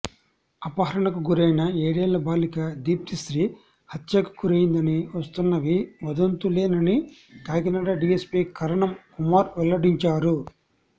అపహరణకు గురైన ఏడేళ్ల బాలిక దీప్తిశ్రీ హత్యకు గురయిందని వస్తున్నవి వదంతులేనని కాకినాడ డీఎస్పీ కరణం కుమార్ వెల్లడించారు